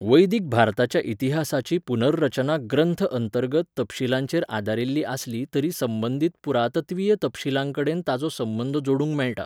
वैदिक भारताच्या इतिहासाची पुनर्रचना ग्रंथ अंतर्गत तपशीलांचेर आदारिल्ली आसली तरी संबंदीत पुरातत्वीय तपशीलांकडेन ताचो संबंद जोडूंक मेळटा.